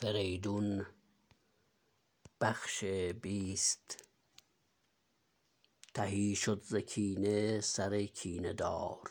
تهی شد ز کینه سر کینه دار